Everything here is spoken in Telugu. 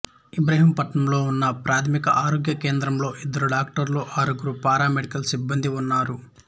ఇబ్రహీంపట్నంలో ఉన్న ఒకప్రాథమిక ఆరోగ్య కేంద్రంలో ఇద్దరు డాక్టర్లు ఆరుగురు పారామెడికల్ సిబ్బందీ ఉన్నారు